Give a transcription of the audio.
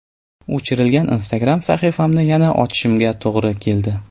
O‘chirilgan Instagram sahifamni yana ochishimga to‘g‘ri keldi.